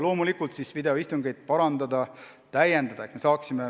Loomulikult püütakse videoistungite korraldust parandada-täiendada.